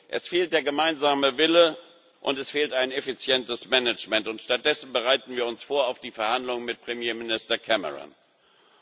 Es fehlt der gemeinsame Wille, und es fehlt ein effizientes Management. Stattdessen bereiten wir uns auf die Verhandlungen mit Premierminister Cameron